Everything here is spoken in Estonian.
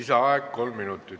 Lisaaeg kolm minutit.